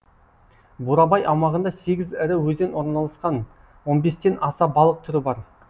бурабай аумағында сегіз ірі өзен орналасқан он бестен аса балық түрі бар